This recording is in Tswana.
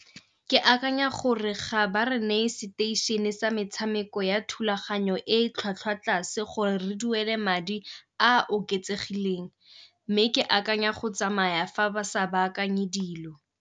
Ke akanya gore ga ba re neye seteišene sa metshameko ya thulaganyo e e tlhwatlhwa tlase gore re duele madi a a oketsegileng, mme ke akanya go tsamaya fa ba sa ba akanye dilo.